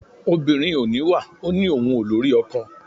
Obìnrin ò níwà ó ní òun ò lórí ọkọ.